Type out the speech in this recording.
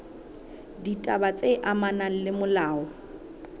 ditaba tse amanang le molao